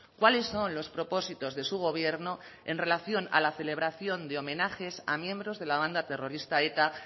cuáles son los propósitos de su gobierno en relación a la celebración de homenajes a miembros de la banda terrorista eta